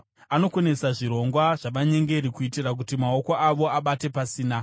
Anokonesa zvirongwa zvavanyengeri, kuitira kuti maoko avo abate pasina.